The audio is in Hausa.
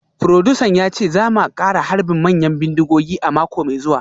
Furodusan ya ce za mu kara harbin manyan bindigogi a mako mai zuwa